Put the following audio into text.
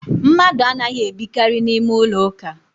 Mmadụ anaghi ebikari n’ime ụlọ ụka